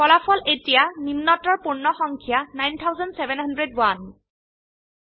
ফলাফল এতিয়া নিম্নতৰ পূৰ্ণ সংখ্যা ৯৭০১